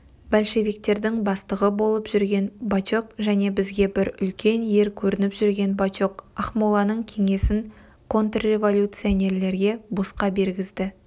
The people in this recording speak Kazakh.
большевиктердің бастығы болып жүрген бачок және бізге бір үлкен ер көрініп жүрген бачок ақмоланың кеңесін контрреволюционерлерге босқа бергізді